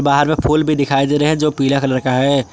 हार में फूल भी दिखाई दे रहे हैं जो पीला कलर का है।